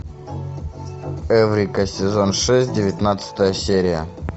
эврика сезон шесть девятнадцатая серия